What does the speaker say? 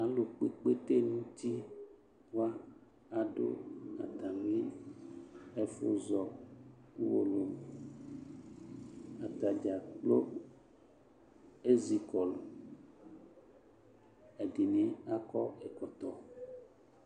Alu kpɔ ikpete nuti wa ado ɛfo zɔ atame ɛfo zɔ uwolowuAta dza kplo ezi kɔlu Ɛde ne akɔ ɛkɔtɔ